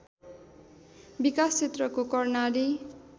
विकास क्षेत्रको कर्णाली